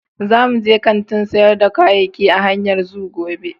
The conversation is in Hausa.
Za mu je kantin sayar da kayayyaki a hanyar Zoo gobe.